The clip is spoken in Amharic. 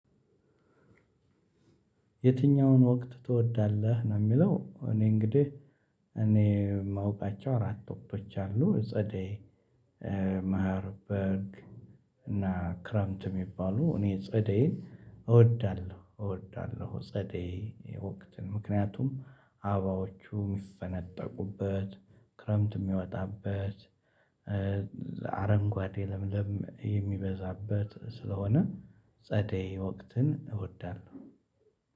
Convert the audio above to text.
የትኛውን ወቅት ትወዳለህ ነው የሚለው? እኔ እንግዲህ እኔ የማውቃቸው አራት ወቅቶች አሉ። ጸደይ መሐር በልግ እና ክረምት የሚባሉ። እኔ ጸደይን እወዳለሁ እወዳለሁ። ጸደይ ወቅትን ምክንያቱም አበባዎቹ የሚፈነጠቁበት ክረምት የሚወጣበት አረንጓዴ ለምለም የሚበዛበት ስለሆነ ጸደይ ወቅትን እወዳለሁ።